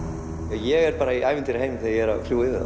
ég er í ævintýraheimi þegar ég er að fljúga yfir